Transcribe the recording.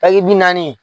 Taki bi naani